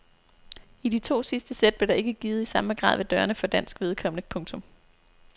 I de to sidste sæt blev der ikke givet i samme grad ved dørene for dansk vedkommende. punktum